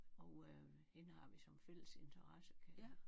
Og øh hende har vi som fælles interesse kan